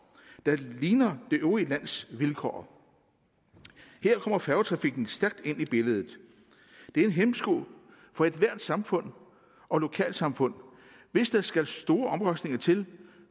der ligner det øvrige lands vilkår her kommer færgetrafikken stærkt ind i billedet det er en hæmsko for ethvert samfund og lokalsamfund hvis der skal store omkostninger til